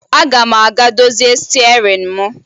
Aga m aga dozie stịarịn m